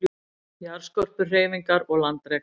Jarðskorpuhreyfingar og landrek